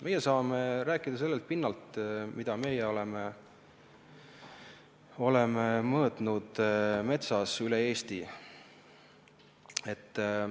Meie saame rääkida sellelt pinnalt, mida meie oleme metsas üle Eesti mõõtnud.